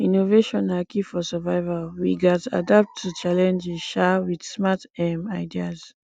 innovation na key for survival we gats adapt to challenges um with smart um ideas